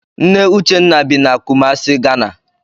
Nne Uchenna bi na Kumasi, Ghana.